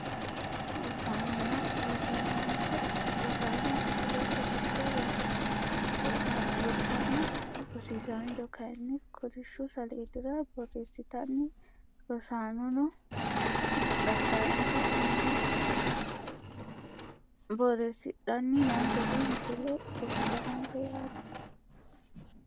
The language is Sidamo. Rosaanonna rosiisancho rosaano kifilete giddo rosana rosiisancho kayiini kolishshu saleedira boreesitana rosaanono daftarinsa aana borreesidhani noo gede misile kultanonke yaate.